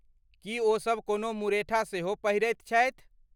की ओसभ कोनो मुरेठा सेहो पहिरैत छथि?